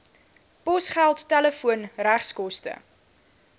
posgeld telefoon regskoste